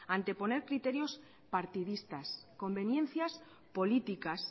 anteponer criterios partidistas conveniencias políticas